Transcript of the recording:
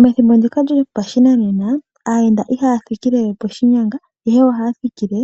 Methimbo ndika lyashinanena aayenda ihaya thikilewe poshinyanga ihe ohaya thikile